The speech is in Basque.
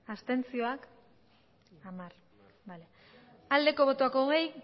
abstentzioa hogei